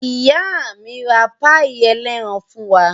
Ìyá mi ra páíì ẹlẹ́ran fún wa.